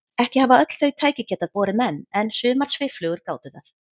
Ekki hafa öll þau tæki getað borið menn en sumar svifflugur gátu það.